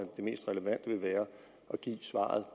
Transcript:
det mest relevante vil være at give svaret